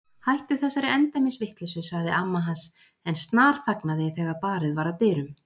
Hættu þessari endemis vitleysu sagði amma hans en snarþagnaði þegar barið var að dyrum.